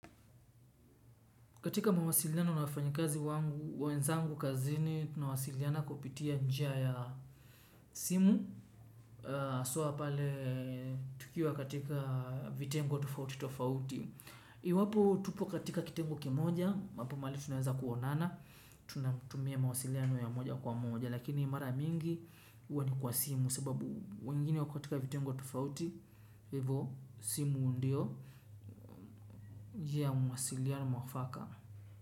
Katika mawasiliano na wafanyakazi wenzangu kazini, tunawasiliana kupitia njia ya simu. Haswa pale, tukiwa katika vitengo tofauti tofauti. Iwapo, tupo katika kitengo kimoja, ambapo mahali tunaweza kuonana, tunatumia mawasiliano ya moja kwa moja, lakini mara mingi, huwa ni kwa simu, sababu, wengine wako katika vitengo tofauti, hivo, simu ndio, njia ya mawasiliano mwafaka.